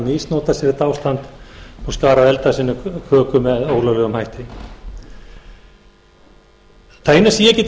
misnotað sér þetta ástand og skarað eld að sinni köku með ólöglegum hætti það eina sem ég get